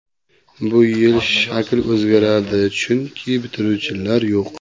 Bu yil shakl o‘zgaradi, chunki bitiruvchilar yo‘q.